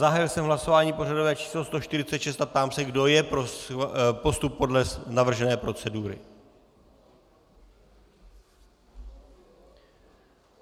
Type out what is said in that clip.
Zahájil jsem hlasování pořadové číslo 146 a ptám se, kdo je pro postup podle navržené procedury.